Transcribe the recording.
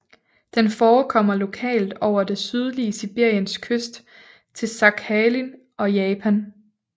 Den forekommer lokalt over det sydlige Sibirien øst til Sakhalin og Japan